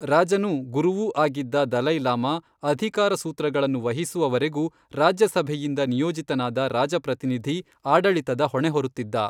ರಾಜನೂ ಗುರುವೂ ಆಗಿದ್ದ ದಲೈ ಲಾಮ ಅಧಿಕಾರಸೂತ್ರಗಳನ್ನು ವಹಿಸುವವರೆಗೂ ರಾಜ್ಯಸಭೆಯಿಂದ ನಿಯೋಜಿತನಾದ ರಾಜಪ್ರತಿನಿಧಿ ಆಡಳಿತದ ಹೊಣೆ ಹೊರುತ್ತಿದ್ದ.